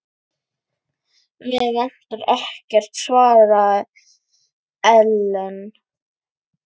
Mig vantar ekkert, svaraði Ellen.